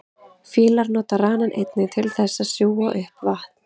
fílar nota ranann einnig til þess að sjúga upp vatn